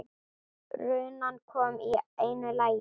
Runan kom í einu lagi.